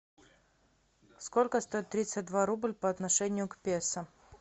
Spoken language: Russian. сколько стоит тридцать два рубль по отношению к песо